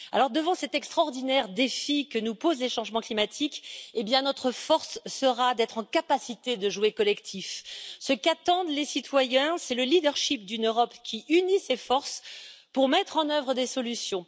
Devant cet extraordinaire défi que nous posent les changements climatiques, notre force sera donc d'être capable de jouer collectif. Ce qu'attendent les citoyens, c'est le d'une Europe qui unit ses forces pour mettre en œuvre des solutions.